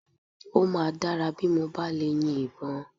Ó máa dára bí mo bá lè yin ìbọn